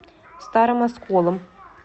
старым осколом